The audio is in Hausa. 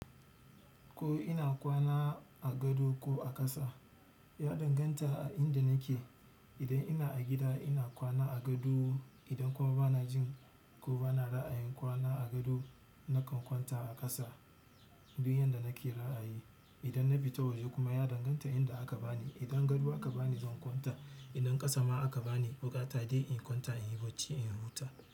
Ko ina kwana a gado ko a ƙasa, ya danganta a inda nake. Idan ina a gida ina kwana a gado, idan kuma bana jin ko bana ra'ayin kwana a gado nakan kwanta a ƙasa. Duk yanda nake ra'ayi. Idan na bita waje kuma ya danganta inda aka bani. Idan gado aka bani zan kwanta, idan ƙasa ma aka bani buƙata dai in kwanta in yi bacci in huta.